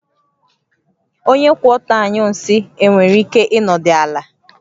Onye kwụ ọtọ anyụ nsị e nwere ike ịnọdụ ala?